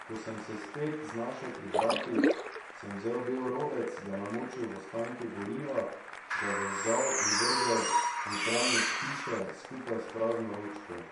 Ko sem se spet znašel pri vratih, sem vzel bel robec, ga namočil v ostanke goriva, ga zažgal in vrgel v notranjost hiše, skupaj s prazno ročko.